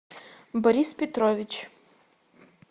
борис петрович